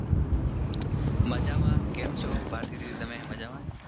મજામાં કેમ છો. ભારતીદીદી તમે મજામાં.